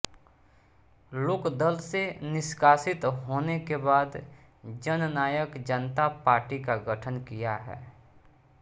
लोकदल से निष्कासित होने के बाद जननायक जनता पार्टी का गठन किया है